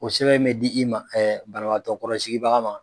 Ko sɛbɛn mɛ di i ma banabagatɔ kɔrɔsigibaga ma.